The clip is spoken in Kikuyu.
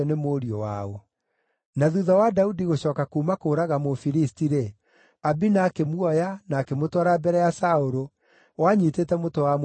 Na thuutha wa Daudi gũcooka kuuma kũũraga Mũfilisti-rĩ, Abina akĩmuoya na akĩmũtwara mbere ya Saũlũ, o anyiitĩte mũtwe wa Mũfilisti ũcio.